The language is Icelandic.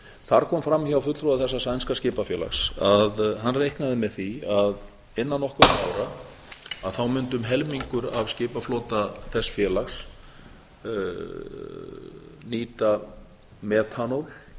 þar kom fram hjá fulltrúa þessa sænska skipafélags að hann reiknaði með því að innan nokkurra ára mundi um helmingur af skipaflota þess félags nýta metanól